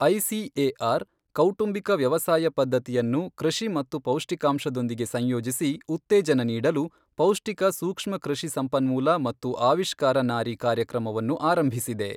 ICAR, ಕೌಟುಂಬಿಕ ವ್ಯವಸಾಯ ಪದ್ದತಿಯನ್ನು ಕೃಷಿ ಮತ್ತು ಪೌಷ್ಟಿಕಾಂಶದೊಂದಿಗೆ ಸಂಯೋಜಿಸಿ ಉತ್ತೇಜನ ನೀಡಲು ಪೌಷ್ಟಿಕ ಸೂಕ್ಷ್ಮ ಕೃಷಿ ಸಂಪನ್ಮೂಲ ಮತ್ತು ಆವಿಷ್ಕಾರ ನಾರಿ ಕಾರ್ಯಕ್ರಮವನ್ನು ಆರಂಭಿಸಿದೆ.